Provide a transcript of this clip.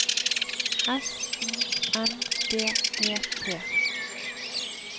S U N D E T